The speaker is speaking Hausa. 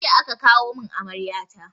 Jiya aka kawo mun amarya ta